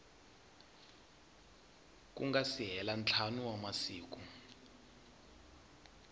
si hela ntlhanu wa masiku